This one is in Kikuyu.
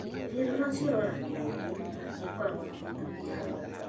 rĩrĩa rũracio rwaragĩrĩrio, hatiakoragwo na mũtumia hau